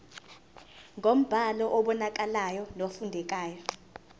ngombhalo obonakalayo nofundekayo